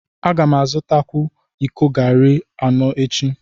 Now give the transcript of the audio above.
A ga m azụta iko garri anọ echi.